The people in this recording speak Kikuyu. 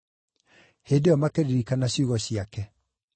Hĩndĩ ĩyo makĩririkana ciugo ciake.